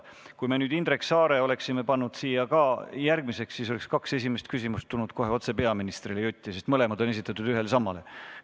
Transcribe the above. Kui me nüüd oleksime Indrek Saare pannud järgmiseks küsijaks, siis oleks kaks esimest küsimust jutti tulnud peaministrile, sest mõlemad on esitatud ühele ja samale inimesele.